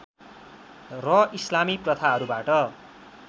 र इस्लामी प्रथाहरूबाट